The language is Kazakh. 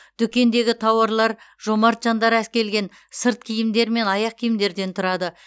дүкендегі тауарлар жомарт жандар әкелген сырт киімдер мен аяқ киімдерден тұрады